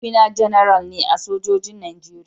Mahaifina Janara ne a sojojin Najeriya.